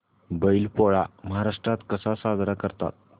बैल पोळा महाराष्ट्रात कसा साजरा करतात